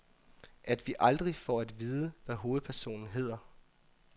At vi aldrig får at vide, hvad hovedpersonen hedder.